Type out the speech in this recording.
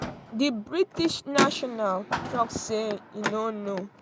di british national don tok say im no know